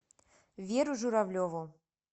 веру журавлеву